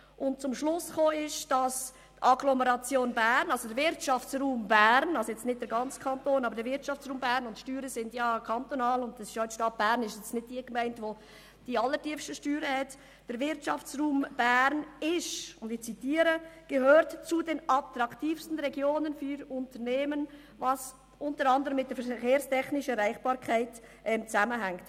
Die Autoren kamen zum Schluss, dass der Wirtschaftsraum Bern – also die Wirtschaft der Agglomeration Bern, wobei die Stadt Bern nicht die allertiefsten Steuern einzieht – zu den attraktivsten Regionen für Unternehmen gehört, was unter anderem mit der verkehrstechnischen Erreichbarkeit zusammenhängt.